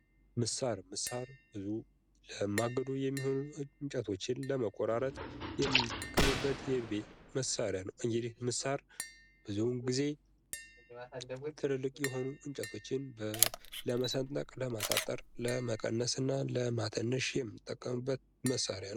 ምሳር ለማገዶ የሚሆኑ እንጨቶችን ለመቆራረጥ የምንጠቀምበት የቤት መሳርያ ነው። እንግዲህ ምሳር ብዙውን ጊዜ ትልልቅ የሆኑ እንጨቶችን ለመሰንጠቅ ለማሳጠር ለመቀነስና ለማተነሽ የምንጠቀምበት መሳርያ ነው።